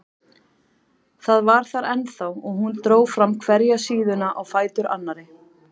Það var þar ennþá og hún dró fram hverja síðuna á fætur annarri.